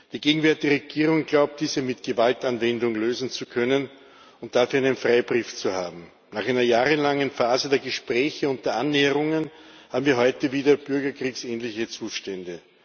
Die gegenwärtige Regierung glaubt, diese mit Gewaltanwendung lösen zu können und dafür einen Freibrief zu haben. Nach einer jahrelangen Phase der Gespräche und der Annäherungen haben wir heute wieder bürgerkriegsähnliche Zustände.